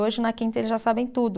Hoje na quinta eles já sabem tudo.